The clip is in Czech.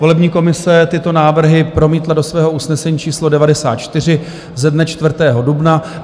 Volební komise tyto návrhy promítla do svého usnesení číslo 94 ze dne 4. dubna.